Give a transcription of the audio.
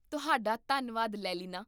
ਤੁਹਾਡਾ ਧੰਨਵਾਦ, ਲੇਲੀਨਾ